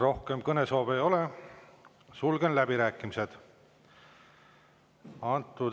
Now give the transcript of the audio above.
Rohkem kõnesoove ei ole, sulgen läbirääkimised.